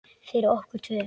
Fyrir okkur tvö.